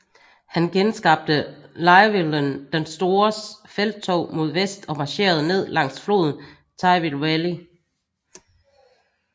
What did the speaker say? Han genskabte Llywelyn den Stores felttog mod vest og marcherede ned langs floden Tywi Valley